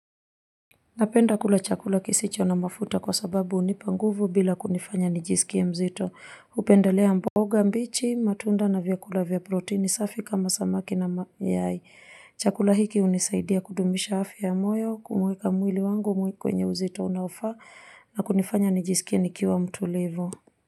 Napenda kula chakula kisicho na mafuta kwa sababu hunipa nguvu bila kunifanya nijisikie mzito hupendelea mboga mbichi, matunda na vyakula vya protini safi kama samaki na mayai chakula hiki hunisaidia kudumisha afya ya moyo, kuweka mwili wangu kwenye uzito unaofaa nakunifanya nijisikie nikiwa mtulivu.